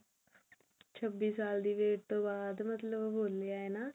ਛੱਬੀ ਸਾਲ ਦੀ wait ਤੋਂ ਬਾਅਦ ਮਤਲਬ ਹੋਲੀ ਹੈ ਨਾ